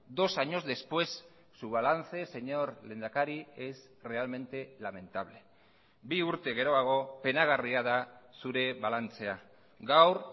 dos años después su balance señor lehendakari es realmente lamentable bi urte geroago penagarria da zure balantzea gaur